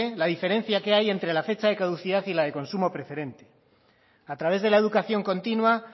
la diferencia que hay entre la fecha de caducidad y la de consumo preferente a través de la educación continua